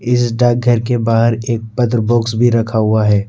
इस डाकघर के बाहर एक पत्र बॉक्स भी रखा हुआ है।